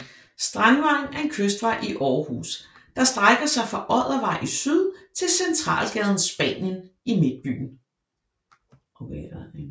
Strandvejen er en kystvej i Aarhus der strækker sig fra Oddervej i syd til centralgaden Spanien i Midtbyen